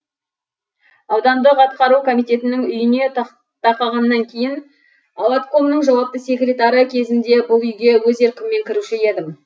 аудандық атқару комитетінің үйіне тақағаннан кейін ауаткомның жауапты секретары кезімде бұл үйге өз еркіммен кіруші едім